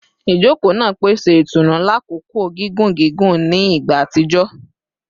Ijoko naa pese itunu lakoko gigun gigun ni igba atijọ